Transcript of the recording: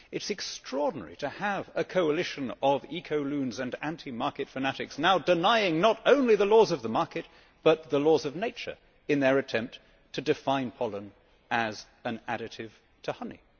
It is extraordinary to have a coalition of eco loons and anti market fanatics now denying not only the laws of the market but the laws of nature in their attempt to define pollen as an additive to honey.